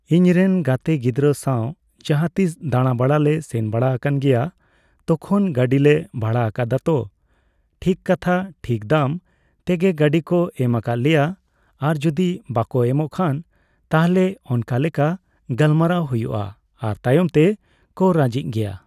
ᱤᱧ ᱨᱮᱱ ᱜᱟᱛᱮ ᱜᱤᱫᱽᱨᱟᱹ ᱥᱟᱣ ᱡᱟᱦᱟᱸᱛᱤᱥ ᱫᱟᱬᱟ ᱵᱟᱲᱟᱭ ᱞᱮ ᱥᱮᱱ ᱵᱟᱲᱟᱣ ᱟᱠᱟᱱ ᱜᱮᱭᱟ ᱛᱚᱠᱷᱚᱱ ᱜᱟᱹᱰᱤ ᱞᱮ ᱵᱷᱟᱲᱟ ᱟᱠᱟᱫᱟ ᱛᱚ ᱴᱷᱤᱠ ᱠᱟᱛᱷᱟ ᱴᱷᱤᱠ ᱫᱟᱢ ᱛᱮᱜᱮ ᱜᱟᱹᱰᱤ ᱠᱚ ᱮᱢ ᱟᱠᱟᱫ ᱞᱮᱭᱟ᱾ ᱟᱨ ᱡᱩᱫᱤ ᱵᱟᱠᱚ ᱮᱢᱚᱜ ᱠᱷᱟᱱ ᱛᱟᱦᱞᱮ ᱚᱱᱠᱟᱞᱮᱠᱟ ᱜᱟᱞᱢᱟᱨᱟᱣ ᱦᱩᱭᱩᱜᱼᱟ ᱾ᱟᱨ ᱛᱟᱭᱚᱢ ᱛᱮ ᱠᱚ ᱨᱟᱹᱡᱤᱜ ᱜᱮᱭᱟ ᱾